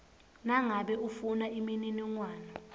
nangabe ufuna imininingwane